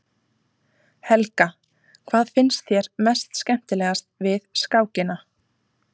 Helga: Hvað finnst þér mest skemmtilegast við skákina?